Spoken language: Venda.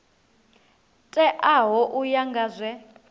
teaho u ya nga zwe